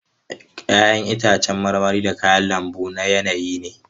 Ya'yan itacen marmari da kayan lambu na yanayi ne.